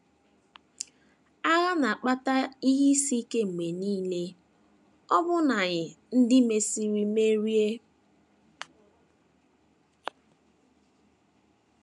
Agha na - akpata ihe isi ike mgbe nile, ọbụna nye ndị mesịrị merie.